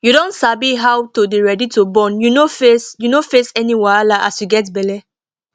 you don sabi how to dey ready to born you no face you no face any wahala as you get belle